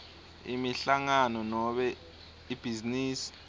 inhlangano nobe ibhizinisi